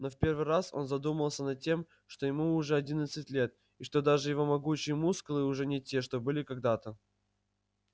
но в первый раз он задумался над тем что ему уже одиннадцать лет и что даже его могучие мускулы уже не те что были когда-то